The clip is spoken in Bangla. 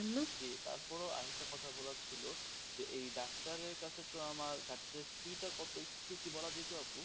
জী তারপরেও আর একটা কথা বলার ছিল যে এই ডাক্তারের কাছে তো আমার ডাক্তারের fee টা কত একটু কি বলা যেত আপু?